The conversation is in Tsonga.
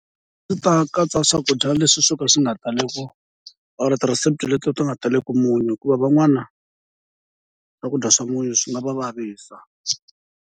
A ndzi ta katsa swakudya leswi swo ka swi nga tali ku or tirhesipi leti ti nga taleki munyu, hikuva van'wana swakudya swa munyu swi nga va vavisa.